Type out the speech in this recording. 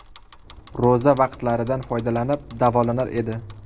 Ro‘za vaqtlaridan foydalanib davolanar edi.